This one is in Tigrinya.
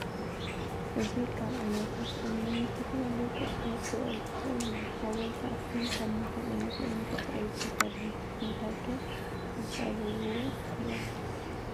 እዚ ካብ ዓይነታት እምኒ ንዝተፈላለዩ ቅርፂ ክውዕል ዝክእል እዩ። ሓወልቲ ኣክሱም ካብ ምንታይ ዓይነት እምኒ ተፀሪቡ ተሰሪሑ ? ብምንታይ ከ ይፀርብዎ ነይሮም።